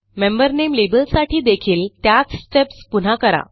member नामे लेबलसाठी देखील त्याच स्टेप्स पुन्हा करा